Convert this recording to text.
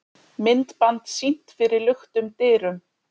Myndband sýnt fyrir luktum dyrum